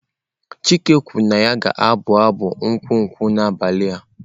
Chike kwuru na ya ga-abụ abụ nkwụ nkwụ n'abalị.